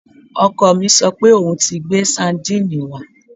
Ọkọ mi sọ pé òun ti gbé sadínìnnì wá